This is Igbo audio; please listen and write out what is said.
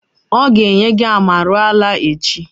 O ga enye gi amarula echi